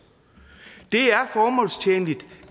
det er formålstjenligt